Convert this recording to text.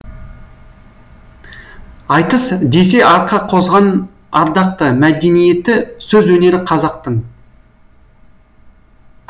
айтыс десе арқа қозған ардақты мәдениеті сөз өнері қазақтың